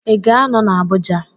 Ị ga-anọ na Abuja?